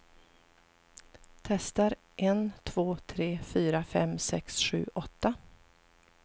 Testar en två tre fyra fem sex sju åtta.